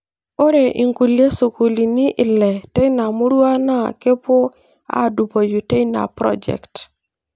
Ore inkulie sukuulini ile teina murua naa keepuo aadupoi teina project .